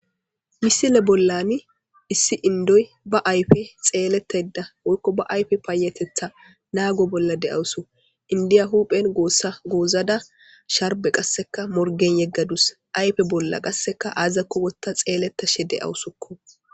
misile bollani issi inddoy ba ayfe xeeletadda woykko ba ayfe paayatetha naggo bolla de'awusu indiya huphojen gossa goozadda sharbe qassekka morgen yeggadus ayfe bolla qasseka aazako wotta xeeletashshe de'awusukko